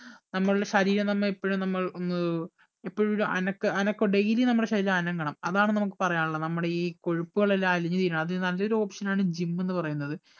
നമ്മളുടെ ശരീരം നമ്മെ എപ്പഴും നമ്മൾ ഒന്ന് എപ്പഴും ഒരു അനക്ക അനക്ക daily നമ്മളെ ശരീരം അനങ്ങണം അതാണ് നമുക്ക് പറയാനുള്ളത് നമ്മടെ ഈ കൊഴുപ്പുകൾ എല്ലാം അലിഞ്ഞു തീരണം അതിന് നല്ലൊരു option ആണ് gym എന്ന് പറയുന്നത്